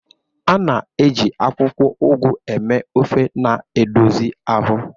A na-eji akwụkwọ Ugu eme ofe na-edozi ahụ.